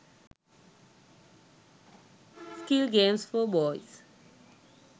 skill games for boys